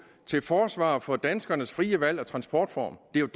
til forsvar for danskernes frie valg af transportform det er